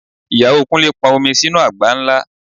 Ìyàwó Kúnlé pọn omi sínú àgbá ńlá